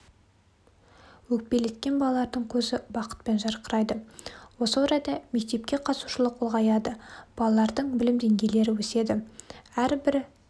өкпелеткен балалардың көзі бақытпен жарқырайды осы орайда мектепке қатысушылық ұлғаяды балалардың білім деңгейлері өседі әрбір